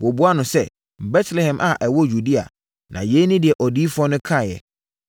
Wɔbuaa no sɛ, “Betlehem a ɛwɔ Yudea. Na yei ne deɛ odiyifoɔ no kaeɛ: